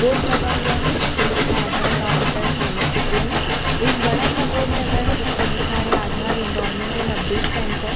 board लगा हुआ है जिस पर लिखा है आधार काउंटर चाणक्यपुरी एक बड़ा सा बोर्ड लगा है जिस पर लिखा है Aadhaar enrolment and update centre --